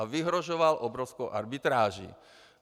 A vyhrožoval obrovskou arbitráží.